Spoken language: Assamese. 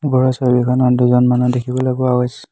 ওপৰৰ ছবিখনত দুজন মানুহ দেখিবলৈ পোৱা গৈছ--